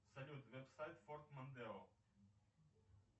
салют веб сайт форд мондео